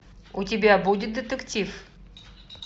у тебя будет детектив